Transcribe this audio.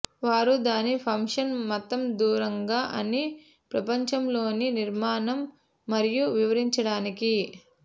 వారు దాని ఫంక్షన్ మతం దూరంగా అని ప్రపంచంలోని నిర్మాణం మరియు వివరించడానికి